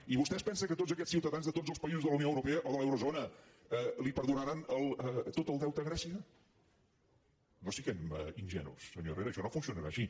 i vostè es pensa que tots aquests ciutadans de tots els països de la unió europea o de l’eurozona li perdonaran tot el deute a grècia no siguem ingenus senyor herrera això no funcionarà així